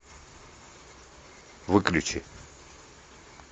выключи